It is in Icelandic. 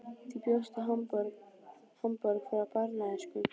Þú bjóst í Hamborg frá barnæsku.